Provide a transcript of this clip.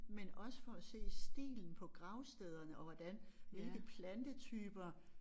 Men også for at se stilen på gravstederne og hvordan hvilke plantetyper